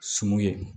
Sun ye